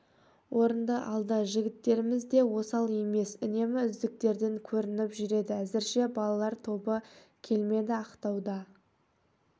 орынды алды жігіттеріміз де осал емес үнемі үздіктерден көрініп жүреді әзірше балалар тобы келмеді ақтауда